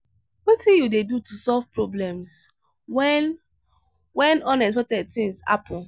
wetin you dey do to solve problems when when unexpected thing happen?